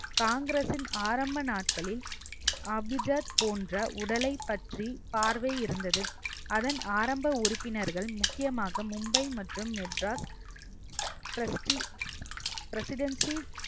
காங்கிரஸின் ஆரம்ப நாட்களில் அபிஜாத் போன்ற உடலைப் பற்றி பார்வை இருந்தது அதன் ஆரம்ப உறுப்பினர்கள் முக்கியமாக மும்பை மற்றும் மெட்ராஸ் trusty presidency